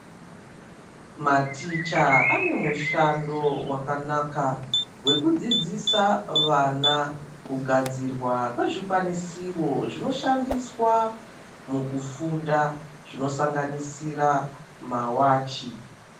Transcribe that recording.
Maticha ane mushando wakanaka wekudzidzisa vana kugadzirwa kwezvikwanisiro zvinoshandiswa mukufunda zvinosanganisira mawachi.